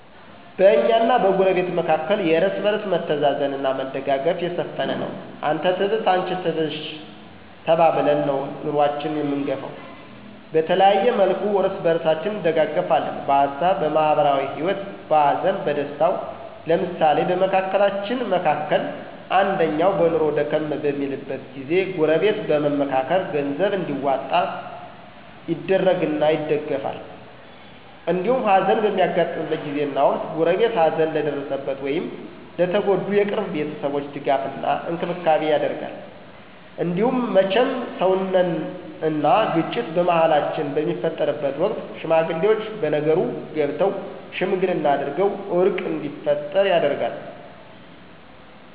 በእኛና በጎረቤት መካከል የእርስ በርስ መተዛዘን አና መደጋገፍ የሰፈነ ነው። አንተ ትብስ አንቺ ትብሽ ተባብለን ነው ኑኖአችን አምንገፈው። በተለያየ መልኩ እርስ በርሳችን እንደጋገፍለን በሀሳብ፣ በማህበራዊ ሂወት፣ በሀዘን በደስታው። ለምሳሌ በመካከላችን መካከል አንደኛው በኑኖው ደከም በሚልበት ጊዜ ጎረበት በመምካከር ገንዘብ እንዲዋጣ ይደረግና ይደገፍል። እንዲሁም ሀዘን በሚያጋጥምበት ጊዜና ወቅት ጎረቤት ሀዘን ለደረሰበት ወይም ለተጎዱ የቅርብ ቤተሰቦች ድጋፍ እና እንክብካቤ ይደረጋል። እንዲሁም መቸም ሰውነን አና ግጭት በመሀላችን በሚፈጠርበት ወቅት ሽማግሌወች በነገሩ ገብተው ሽምግልና አድርገው እርቅ እንዲፈጠር ይደረጋል።